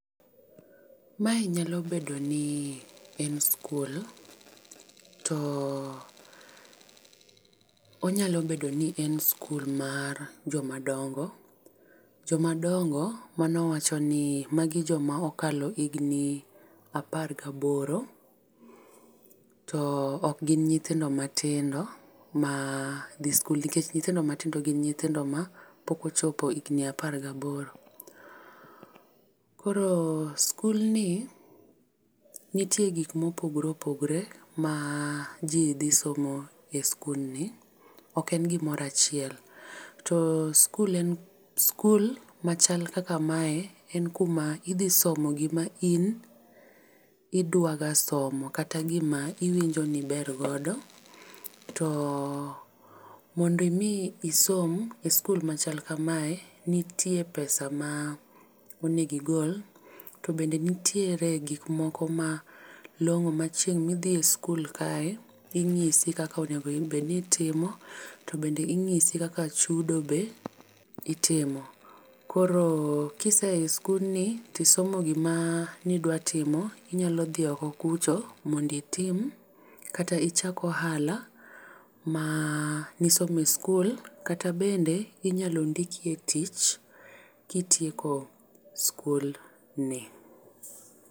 Mae nyalo bedo ni en skul. To onyalo bedo ni enskul mar joma dongo. Joma dongo mano wacho ni magi joma okalo higni apar gi aboro. To ok gin nyithindo matindo madhi skul. Nikech nyithindo matindo, gin nyithindo ma pok ochopo higni apar gi aboro. Koro skulni, nitie gik ma opogore opogore ma ji dhi somo e skulni ok en gimoro achiel. To skul en, skul machal kaka mae en kuma idhi somo gima in idwaga somo, kata gima iwinjo ni iber godo. To mondo imi isom e skul machal kamae, nitie pesa ma onego igol. To bende nitiere gik moko ma long'o ma chieng' ma idhi e skul kae, inyisi kaka onego bed ni itimo, to bende inyisi kaka chudo be itimo. Koro kisea e skulni to isomo gima nidwa timo. Inyalo dhi oko kucho mondo itim kata ichak ohala ma ne isomo e skul kata bende inyalo ndiki e tich, kitieko skul ni.